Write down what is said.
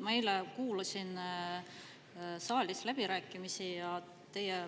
Ma eile kuulasin saalis läbirääkimisi ja